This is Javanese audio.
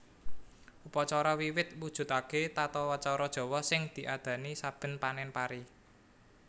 Upacara Wiwit mujudaké tatacara Jawa sing diadani saben panèn pari